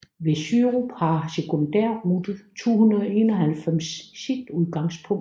Ved Sørup har Sekundærrute 291 sit udgangspunkt